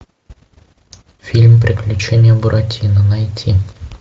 фильм приключения буратино найти